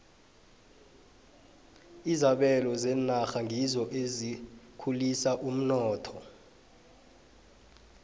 izabelo zenarha ngizo ezikhulisa umnotho